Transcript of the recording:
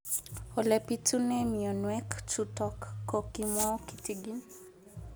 Ole pitune mionwek chutok ko kimwau kitig'�n